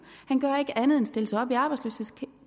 han gør ikke andet end at stille sig op i arbejdsløshedskøen